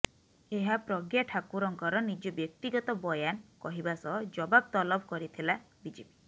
ଏହା ପ୍ରଜ୍ଞା ଠାକୁରଙ୍କର ନିଜ ବ୍ୟକ୍ତିଗତ ବୟାନ କହିବା ସହ ଜବାବ ତଲବ କରିଥିଲା ବିଜେପି